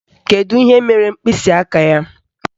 Kedu ihe mere mkpịsịaka ya?